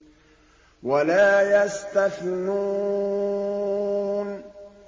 وَلَا يَسْتَثْنُونَ